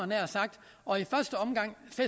nær sagt og i første omgang